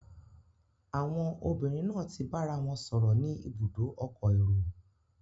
Àwon obìnrin náà ti bárawon sòrò ni ibùdó okò érò